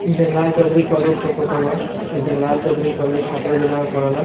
इ जगलाल चौधरी कॉलेज के फोटो बा इ जगलाल चौधरी कॉलेज छपरा जिला में पड़ेला।